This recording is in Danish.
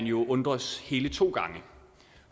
jo undres hele to gange